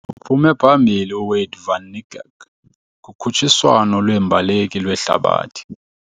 Uphume phambili uWayde van Nikerk kukhutshiswano lweembaleki lwehlabathi.